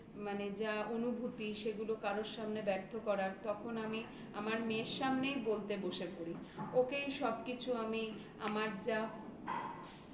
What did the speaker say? যা অনুভূতি সেগুলো কারোর সামনে ব্যর্থ করার. তখন আমি আমার মেয়ের সামনেই বলতে বসে পড়ি. ওকেই সবকিছু আমি আমার যা